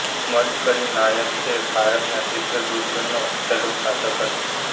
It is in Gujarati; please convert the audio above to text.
મડકરી નાયક એ ભારતના ચિત્રદુર્ગનો છેલ્લો શાસક હતો